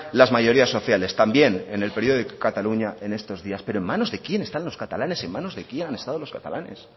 las mayorías sociales también en el periódico de cataluña en estos días pero en manos de quién están los catalanes en manos de quién han estado los catalanes